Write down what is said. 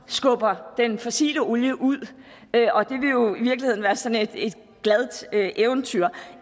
skubbe den fossile olie ud og det vil jo i virkeligheden være sådan et glad eventyr